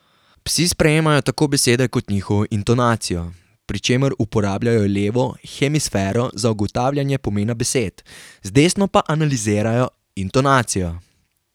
Psi sprejemajo tako besede kot njihovo intonacijo, pri čemer uporabljajo levo hemisfero za ugotavljanje pomena besed, z desno pa analizirajo intonacijo.